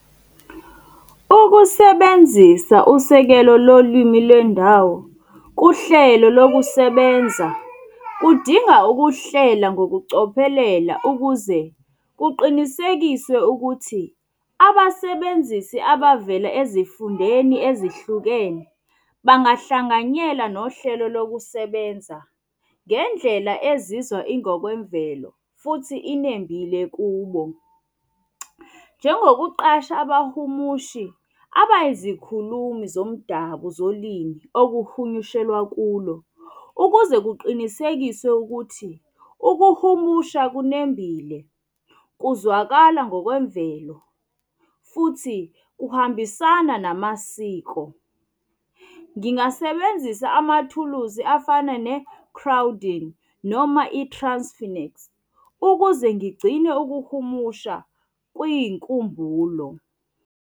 Ukusebenzisa usekelo lo lwimi lwendawo kuhlelo lokusebenza, kudinga ukuhlela ngokucophelela ukuze kuqinisekiswe ukuthi abasebenzisi abavela ezifundeni ezihlukene bangahlanganyela nohlelo lokusebenza ngendlela ezizwa ingokwemvelo futhi inembile kubo. Njengokuqasha abahumushi abayizikhulumi zomdabu zolimi okuhunyushelwa kulo, ukuze kuqinisekiswe ukuthi ukuhumusha okunembile kuzwakala ngokwemvelo futhi kuhambisana namasiko. Ngingasebenzisa amathuluzi afana ne-crowding noma ukuze ngigcine ukuhumusha kuyinkumbulo.